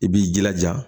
I b'i jilaja